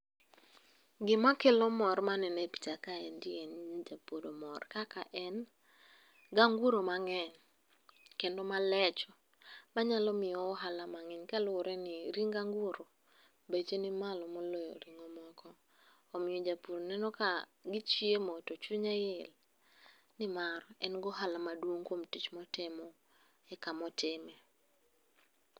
Gimakelo mor manene picha kaendi en ni japur mor kaka en ganguro mang'eny, kendo malecho manyalo miyowa ohala mang'eny. Kaluwore ni ring anguro beche ni malo moloyo ring'o moko. Omiyo japur neno ka gichiemo to chunye il, nimar en gohala maduong' kuom tich motimo e kamotime.